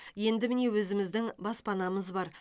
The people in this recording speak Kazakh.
енді міне өзіміздің баспанамыз бар